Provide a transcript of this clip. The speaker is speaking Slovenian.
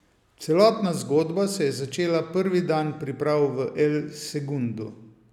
Celotna zgodba se je začela prvi dan priprav v El Segundu.